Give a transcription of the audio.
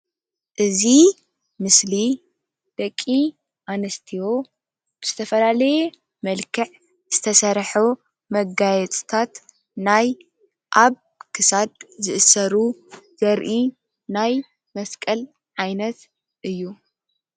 እዚ ምስሊ ደቂ ኣንስትዮ ብዝተፈላለየ መልክዕ ዝትሰርሑ መጋየፅታት ናይ ኣብ ክሳድ ዝእሰሩ ዘርኢ ናይ መስቀል ዓይነት እዩ።